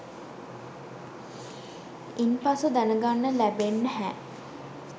ඉන්පස්සෙ දැනගන්න ලැබෙන්නැහැ